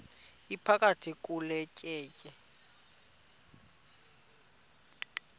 iphakathi kule tyeya